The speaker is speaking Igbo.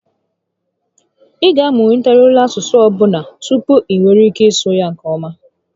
Ị ga amụtariri olu asụsụ ọbụla tupu i nwee ike ịsụ ya nke ọma